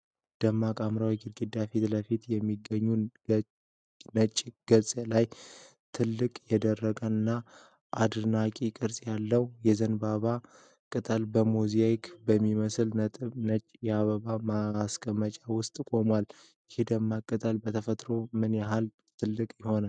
ደማቅ ሐምራዊ ግድግዳ ፊት ለፊት በሚገኝ ነጭ ገጽ ላይ፣ ትልቅ፣ የደረቀ እና አድናቂ ቅርጽ ያለው የዘንባባ ቅጠል በሞዛይክ በሚመስል ነጭ የአበባ ማስቀመጫ ውስጥ ቆሟል። ይህ የደረቀ ቅጠል በተፈጥሮው ምን ያህል ትልቅ ይሆናል?